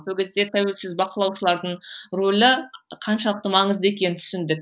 сол кезде тәуілсіз бақылаушылардың рөлі қаншалықты маңызды екенін түсіндік